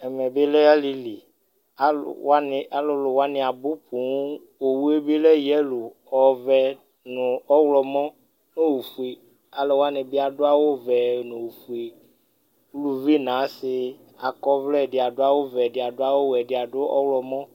ɛmɛ bi lɛ alili, alu wʋani, alulu wʋani abu poooo, Owue bi lɛ yelo ɔvɛ nu ɔwlɔmɔ ofue alu wʋani bi adu vɛ nu ofue, uluvi nu asi akɔ ɔvlɛ ɛdi adu awu vɛ, ɛdi adu awu wɛ, ɛdi adu ɔwlumɔ